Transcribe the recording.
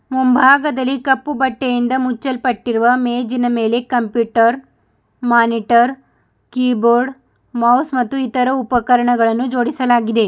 ಮುಂಭಾಗದಲ್ಲಿ ಕಪ್ಪು ಬಟ್ಟೆಯಿಂದ ಮುಚ್ಚಲ್ಪಟ್ಟಿರುವ ಮೇಜಿನ ಮೇಲೆ computer monitor keyboard mouse ಮತ್ತು ಇತರ ಉಪಕರಣಗಳನ್ನು ಜೋಡಿಸಲಾಗಿದೆ.